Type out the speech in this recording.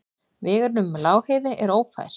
Vegurinn um Lágheiði er ófær.